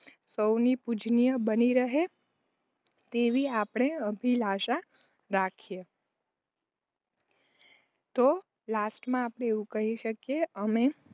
સૌની પૂજનીય બની રહે તેવી આપણે અભિલાષા રાખીએ. તો Last માં આપણે એવું કહી શકીયે અમે